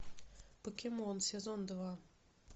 покемон сезон два